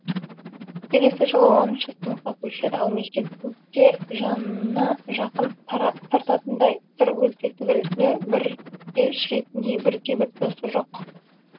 келесі жылы оныншы сыныпқа көшеді ал мектепте жанына жақын тартатындай сыр бөліспек түгілі бірге жүретіндей бірде бір досы жоқ